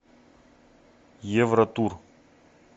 евротур